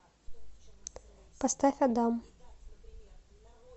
поставь адам